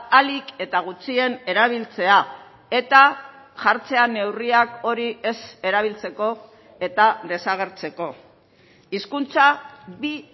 ahalik eta gutxien erabiltzea eta jartzea neurriak hori ez erabiltzeko eta desagertzeko hizkuntza bi